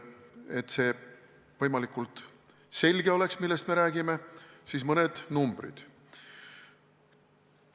Et see võimalikult selge oleks, millest me räägime, siis mõned numbrid.